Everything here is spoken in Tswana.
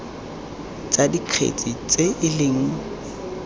tsa dikgetse tse e leng